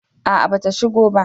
A'a ba ta shigo ba